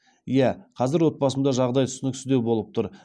иә қазір отбасымда жағдай түсініксіздеу болып тұр